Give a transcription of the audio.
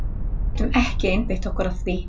Við getum ekki einbeitt okkur að því.